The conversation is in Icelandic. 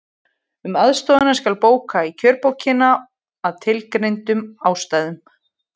Um aðstoðina skal bóka í kjörbókina, að tilgreindum ástæðum.